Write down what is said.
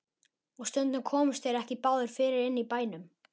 Og stundum komust þeir ekki báðir fyrir inni í bænum.